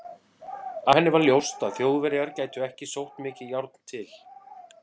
Af henni var ljóst, að Þjóðverjar gætu ekki sótt mikið járn til